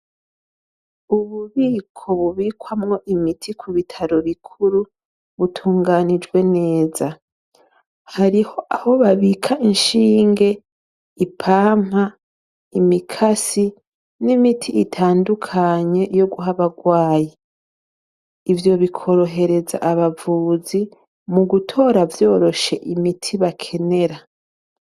Ububiko bubikwamwo imiti ku bitaro bikuru, butunganijwe neza, hariho aho babika inshinge, ipampa, imikasi, n'imiti itandukanye yo guha abagwayi, ivyo bikorohereza abavuzi mu gutora vyoroshe imiti bakenera.